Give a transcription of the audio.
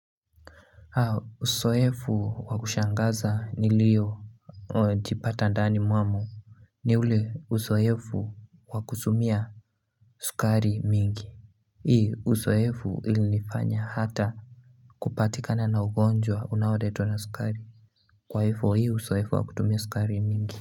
Usoefu wa kushangaza niliyo jipata ndani mwamo ni ule usoefu wakusumia sukari mingi Hii usoefu ilinifanya hata kupatikana na ugonjwa unaoletwa na sukari Kwaifo hii usoefu wa kutumia sukari mingi.